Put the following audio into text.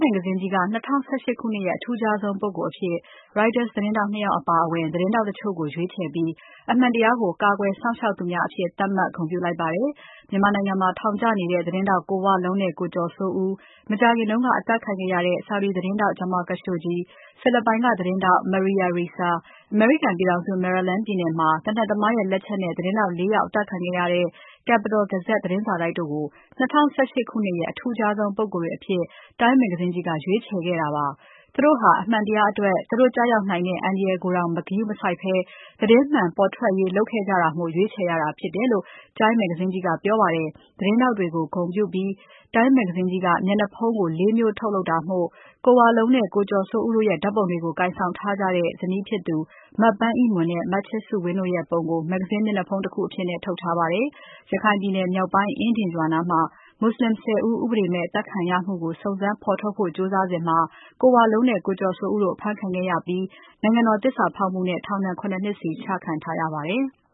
မဂ္ဂဇင်းကြီးက ၂၀၁၈ ခုနှစ်ရဲ့ အထူးခြားဆုံးပုဂ္ဂိုလ်အဖြစ် Reuters သတင်းထောက် ၂ ယောက်အပါအဝင် ထူးခြားတဲ့ သတင်းထောက်တချို့ကို ရွေးချယ်ပြီး အမှန်တရားကို ကာကွယ်စောင့်ရှောက်သူများအဖြစ်သတ်မှတ် ဂုဏ်ပြုလိုက်ပါတယ်။ မြန်မာနိုင်ငံမှာထောင်ကျနေတဲ့ သတင်းထောက်ကိုဝလုံးနဲ့ ကိုကျော်စိုးဦး၊ မကြာခင်က အသတ်ခံခဲ့ရတဲ့ Saudi သတင်းထောက် Jamal Khashoggi ၊ ဖိလစ်ပိုင်ကသတင်းထောက် Maria Ressa၊ အမေရိကန်ပြည်ထောင်စု Maryland ပြည်နယ်မှာ သေနတ်သမားရဲ့လက်ချက်နဲ့ သတင်းထောက် ၄ ယောက်အသတ်ခံခဲ့ရတဲ့ The Capital Gazette သတင်းစာတိုက်တို့ကို ၂၀၁၈ ခုနှစ်ရဲ့ အထူးခြားဆုံး ပုဂ္ဂိုလ်တွေအဖြစ် Time မဂ္ဂဇင်းကြီးက ရွေးချယ်ခဲ့တာပါ။ သူတို့ဟာ အမှန်တရားအတွက် သူတို့ကျရောက်နိုင်တဲ့ အန္တရာယ်ကိုတောင် ဂရုမစိုက်ဘဲ သတင်းမှန်ပေါ်ထွက်ရေးလုပ်ခဲ့ကြတာမို့ ရွေးချယ်ရတာဖြစ်တယ်လို့ Time မဂ္ဂဇင်းကြီးက ပြောပါတယ်။ သတင်းထောက်တွေကို ဂုဏ်ပြုပြီး Time မဂ္ဂဇင်းကြီးက မျက်နှာဖုံးကို ၄ မျိုးထုတ်လုပ်တာမို့ ကိုဝလုံးနဲ့ ကိုကျော်စိုးဦးတို့ရဲ့ဓါတ်ပုံတွေကို ကိုင်ဆောင်ထားကြတဲ့ ဇနီးဖြစ်ကြသူ မပန်းအိမွန်နဲ့ မချစ်စုဝင်းတို့ရဲ့ပုံကို မဂ္ဂဇင်းမျက်နှာဖုံးတခုအဖြစ် ထုတ်ထားပါတယ်။ ရခိုင်ပြည်နယ်မြောက်ပိုင်း အင်းဒင်ရွာနားမှာ မွတ်ဆလင် ၁၀ ဦး ဥပဒေမဲ့အသတ်ခံရမှုကို စုံစမ်းဖော်ထုတ်ဖို့ ကြိုးစားစဉ် ကိုဝလုံးနဲ့ ကိုကျော်စိုးဦးတို့ အဖမ်းခံခဲ့ရပြီး နိုင်ငံတော် သစ္စာဖောက်မှုနဲ့ ထောင်ဒဏ် ၇ နှစ်စီ ချခံထားရပါတယ်။